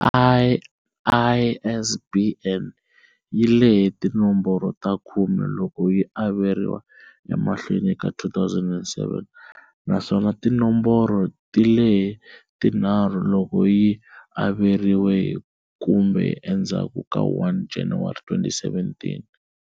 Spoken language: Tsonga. ISBN yi lehe tinomboro ta khume loko yi averiwa emahlweni ka 2007, naswona tinomboro ti lehe tinharhu loko yi averiwe hi kumbe endzhaku ka 1 January 2007.